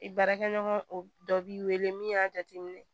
I baarakɛɲɔgɔn o dɔ b'i wele min y'a jateminɛ